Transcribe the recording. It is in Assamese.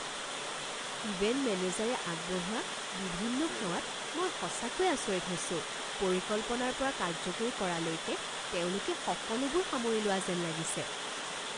ইভেণ্ট মেনেজাৰে আগবঢ়োৱা বিভিন্ন সেৱাত মই সঁচাকৈয়ে আচৰিত হৈছো পৰিকল্পনাৰ পৰা কাৰ্যকৰী কৰালৈকে তেওঁলোকে সকলোবোৰ সামৰি লোৱা যেন লাগিছে!